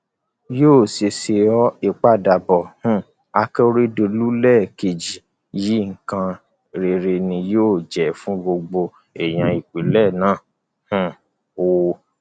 yóò ṣeé ṣe ọ ìpadàbọ um akérèdọlù lẹẹkejì yìí nǹkan rere ni yóò jẹ fún gbogbo èèyàn ìpínlẹ náà um o